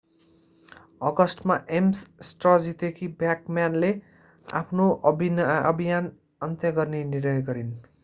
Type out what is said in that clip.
अगस्टमा एम्स स्ट्र जितेकी ब्याकम्यानले आफ्नो अभियान अन्त्य गर्ने निर्णय गरिन्